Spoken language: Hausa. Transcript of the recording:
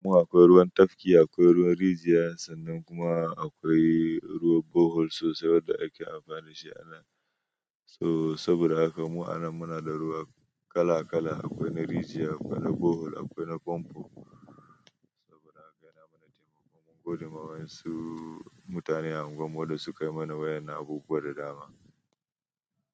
Kuma aƙwai ruwan tafki, aƙwai ruwan rijiya sannan kuma aƙwai ruwan borehole sosai wanda ake amfani shi a nan. So saboda haka mu anan munada ruwa kala-kala aƙwai na rijiya, aƙwai na borehole, aƙwai na fanfo saboda haka yana mana taimako mun godema waƴansu mutane a unguwar mu wanda sukayi mana waƴannan abubuwa da dama.